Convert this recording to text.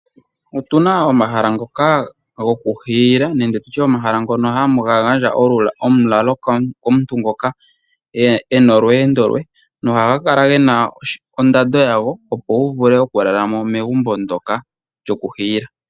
Otuna omahala ngoka goku hiila nenge tutye omahala ngono haga gandja omu lalo komuntu ngoka ena olweendo lwe ,no haga kala gena ondando yago opo wuvule oku lalamo megumbo ndoka lyoku hiila.